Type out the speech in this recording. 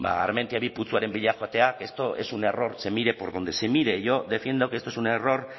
ba armentia bigarren putzuaren bila joatea esto es un error se mire por donde se mire yo defiendo que esto es un error